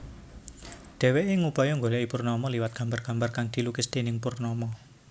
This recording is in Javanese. Dhèwèké ngupaya nggolèki Purnama liwat gambar gambar kang dilukis déning Purnama